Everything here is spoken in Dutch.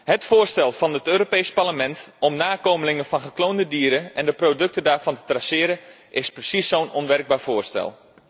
Het voorstel van het Europees Parlement om nakomelingen van gekloonde dieren en de producten daarvan te traceren is precies zo'n onwerkbaar voorstel.